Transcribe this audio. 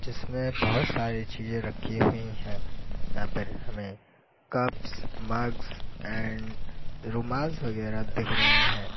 इसमें बहुत सारी चीज़ें रखी हुई है यहां पर हमें कप्स मग्स एंड रूमाल वगैरह दीख रहे हैं।